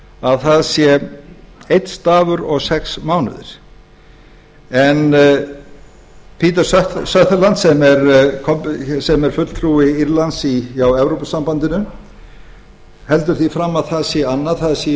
að það sé einn dagur og sex mánuðir en peter sunderland sem er fulltrúi írlands hjá evrópusambandinu heldur því fram að það sé annað það séu í